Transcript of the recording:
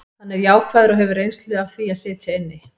Hann er jákvæður og hefur reynslu af því að sitja inni.